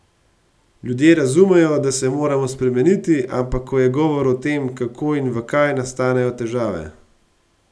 Ljudje razumejo, da se moramo spremeniti, ampak ko je govor o tem, kako in v kaj, nastanejo težave.